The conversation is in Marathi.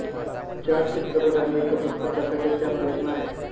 चार चित्रपट आणि एका पुस्तकासाठी त्या प्रेरणा आहेत